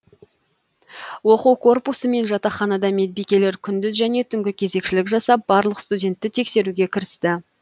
оқу корпусы мен жатақханада медбикелер күндіз және түнгі кезекшілік жасап барлық студентті тексеруге кірісті